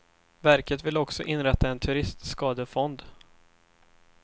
Verket vill också inrätta en turistskadefond.